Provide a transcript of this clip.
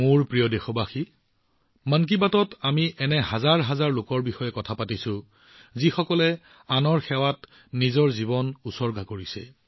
মোৰ মৰমৰ দেশবাসীসকল মন কী বাতত আমি হাজাৰ হাজাৰ লোকৰ কথা উল্লেখ কৰিছো যিসকলে আনৰ সেৱাত নিজৰ জীৱন উৎসৰ্গা কৰিছে